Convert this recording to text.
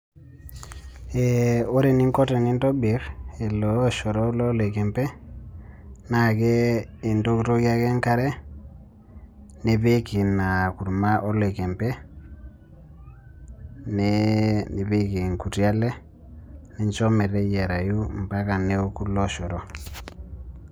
Ore eningo tenintobirr ele oshoro loloikempe, naake intokitokie ake enkare, nipik ina kurma oloikempe, nipik inkuti ale, nincho meteyiarayu mpaka neoku ilooshoro.